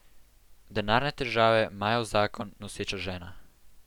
Denarne težave, majav zakon, noseča žena.